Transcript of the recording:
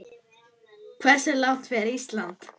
Hversu langt fer Ísland?